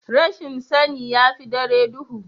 Rashin sani ya fi dare duhu.